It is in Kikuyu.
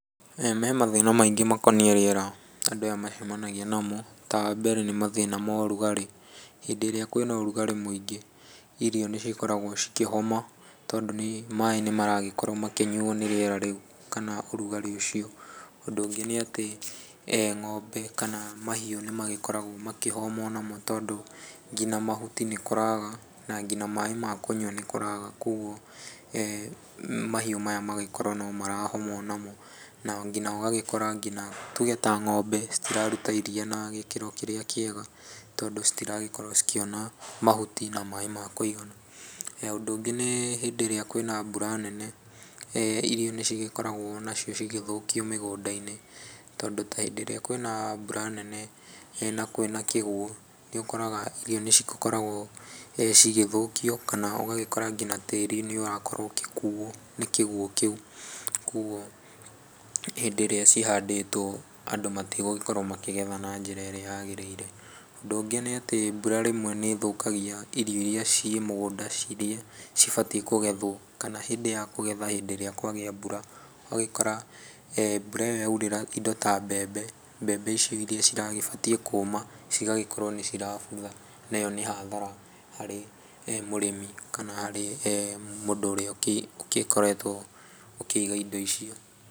He mathĩna maingĩ makoniĩ rĩera andũ aya macemanagia namo, ta mbere nĩ mathĩna ma ũrugarĩ, hĩndĩ ĩrĩa kwĩna ũrugarĩ mũingĩ, irio nĩ cikoragwo cikĩhoma tondũ maĩ nĩ maragĩkorwo makĩnyuo nĩ rĩera rĩu kana ũrugarĩ ũcio, ũndũ ũngĩ nĩ atĩ, ng'ombe kana mahiũ nĩ magĩkoragwo makĩhoma onamo tondũ nginya nginya mahuti nĩ kũraga, na nginya maĩ ma kũnyua nĩ kũraga, koguo mahiũ maya magagĩkorwo no marahoma onamo, na nginya ũgagĩkora nginya tuge ta ng'ombe citiraruta iriia na gĩkĩro kĩrĩa kĩega, tondũ citiragĩkorwo cikĩona mahuti na maĩ ma kũigana. Ũndũ ũngĩ nĩ hĩndĩ ĩrĩa kwĩna mbura nene, irio nĩ cigĩkoragwo macio cigĩthũkio mĩgũnda-inĩ tondũ ta hĩndĩ ĩrĩa kwĩna mbura nene na kwĩna kĩguũ, nĩ ũkoraga irio nĩ cigĩkoragwo cigĩthũkio, kana ũgagĩkora nginya tĩri nĩũrakorwo ũgĩkuo nĩ kĩguũ kĩu, koguo hĩndĩ ĩrĩa cihandĩtwo andũ matigũgĩkorwo makĩgetha na njĩra ĩrĩa yagĩrĩire. Ũndũ ũngĩ nĩ atĩ mbura rĩmwe nĩ ĩthũkagia irio iria ciĩmũgũnda cirĩe cibatie kũgethwo, kana hĩndĩ ya kũgethwo hĩndĩ ĩrĩa kwagĩa mbura, ũgagĩkora mbura ĩyo ya ũrĩra indo ta mbembe, mbembe icio iria ciragĩbatie kũma, cigagĩkorwo nĩ cirabutha, neyo nĩ hathara harĩ mũrĩmi kana harĩ mũndũ ũrĩa ũgĩkoretwo ũkĩiga indo icio.